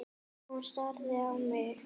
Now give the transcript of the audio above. Hún starir á mig.